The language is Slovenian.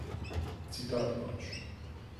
Citat pač.